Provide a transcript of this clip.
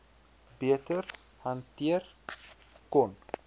beter hanteer kon